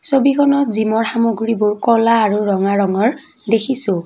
ছবিখনত জিমৰ সামগ্ৰীবোৰ ক'লা আৰু ৰঙা ৰঙৰ দেখিছোঁ।